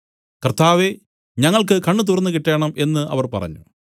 കർത്താവേ ഞങ്ങൾക്കു കണ്ണ് തുറന്നുകിട്ടേണം എന്നു അവർ പറഞ്ഞു